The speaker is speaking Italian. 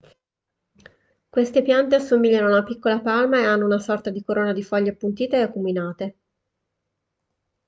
queste piante assomigliano a una piccola palma e hanno una sorta di corona di foglie appuntite e acuminate